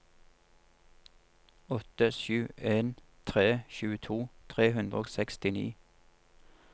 åtte sju en tre tjueto tre hundre og sekstini